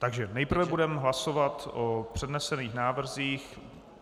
Takže nejprve budeme hlasovat o přednesených návrzích.